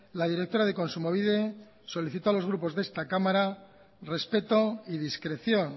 la directora de kontsumobide solicitó a los grupos de esta cámara respeto y discreción